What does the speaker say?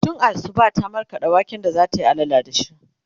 tun Asuba ta markaɗa waken da zatayi allala da shi